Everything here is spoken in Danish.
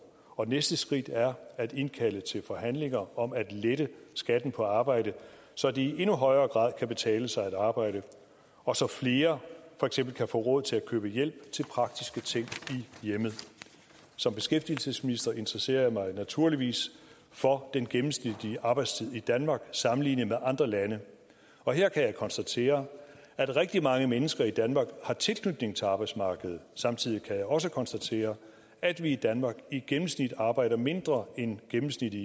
og næste skridt er at indkalde til forhandlinger om at lette skatten på arbejde så det i endnu højere grad kan betale sig at arbejde og så flere for eksempel kan få råd til at købe hjælp til praktiske ting i hjemmet som beskæftigelsesminister interesserer jeg mig naturligvis for den gennemsnitlige arbejdstid i danmark sammenlignet med andre lande og her kan jeg konstatere at rigtig mange mennesker i danmark har tilknytning til arbejdsmarkedet samtidig kan jeg også konstatere at vi i danmark i gennemsnit arbejder mindre end gennemsnittet